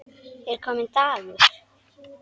Er kominn dagur?